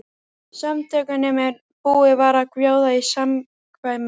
Samtökunum en búið var að bjóða í samkvæmið.